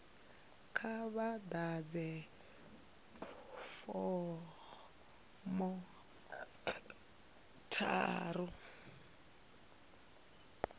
kha vha ḓadze fomo tharu